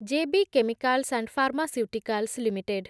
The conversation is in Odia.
J B chemicals and pharmaceuticals limited